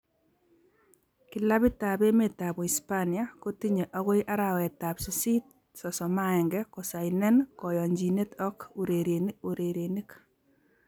Kilabitab emetab Uispania kotinye agoi arawetab sisit 31, kosainen koyonchinet ak urerenik